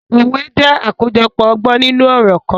Òwè jẹ̀ akojọpọ ọgbọn ninu ọrọ kan.